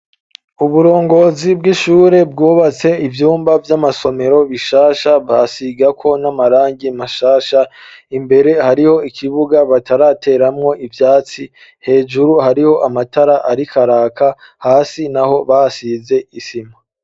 Uburongozi bw'ishure bwubatse ivyumba vy'amasomero bishasha basigako n'amarangi mashasha imbere hariho ikibuga batarateramwo ivyatsi hejuru hariho amatara arikaraka hasi naho basize isima.